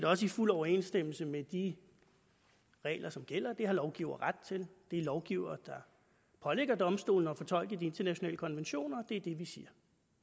også i fuld overensstemmelse med de regler som gælder det har lovgivere ret til det er lovgivere der pålægger domstolene at fortolke de internationale konventioner og det er det vi siger